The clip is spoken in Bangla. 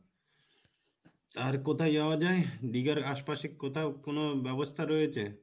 আর কোথায় যাওয়া যাই, দীঘার আশপাশে কোথাও কোনো ব্যাবস্থা রয়েছে?